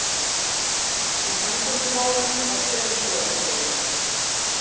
Í samgöngumálum var sömu sögu að segja.